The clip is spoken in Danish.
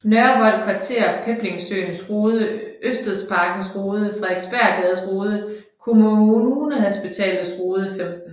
Nørrevold Kvarter Peblingesøens Rode Ørstedsparkens Rode Frederiksborggades Rode Kommunehospitalets Rode 15